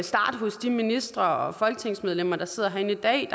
starte hos de ministre og folketingsmedlemmer der sidder herinde i dag